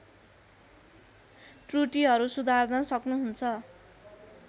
त्रुटिहरू सुधार्न सक्नुहुन्छ